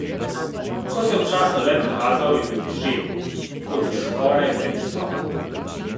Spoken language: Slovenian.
Ko se je občasno le prikazal, je bil izžet, kot da skoraj ne bi spal.